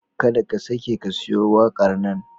Kar ka sake ka siyo waƙar nan.